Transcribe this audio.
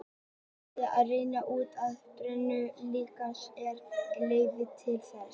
Hægt er að reikna út áætlaða brennslu líkamans og hér er ein leið til þess.